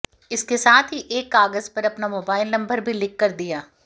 इसके साथ ही एक कागज पर अपना मोबाइल नंबर भी लिखकर दिया